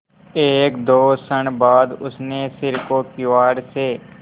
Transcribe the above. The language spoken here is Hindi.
एकदो क्षण बाद उसने सिर को किवाड़ से